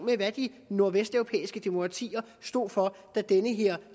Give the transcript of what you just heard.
til hvad de nordvesteuropæiske demokratier stod for da den her